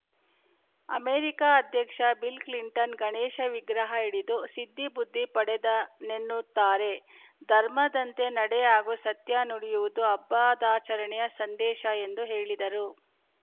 America ಅಧ್ಯಕ್ಷ Bill Clinton Ganesha ವಿಗ್ರಹ ಹಿಡಿದು ಸಿದ್ದಿಬುದ್ಧಿ ಪಡೆದನೆ ನ್ನುತ್ತಾರೆ ಧರ್ಮದಂತೆ ನಡೆ ಹಾಗೂ ಸತ್ಯ ನುಡಿಯುವುದು ಹಬ್ಬದಾಚರಣೆಯ ಸಂದೇಶ ಎಂದು ಹೇಳಿದರು